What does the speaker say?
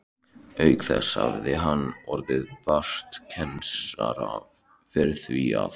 Auk þess hafði hann orð bartskerans fyrir því að